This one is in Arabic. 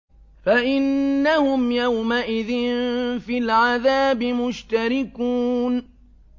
فَإِنَّهُمْ يَوْمَئِذٍ فِي الْعَذَابِ مُشْتَرِكُونَ